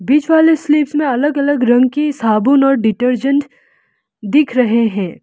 बीच वाली स्लीव्स में अलग अलग रंग की साबुन और डिटर्जेंट दिख रहे हैं।